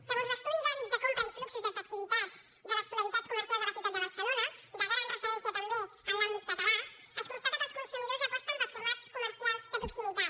segons l’estudi d’hàbit de compra i fluxos d’activitat de les polaritats comercials de la ciutat de barcelona de gran referència també en l’àmbit català es constata que els consumidors aposten pels formats comercials de proximitat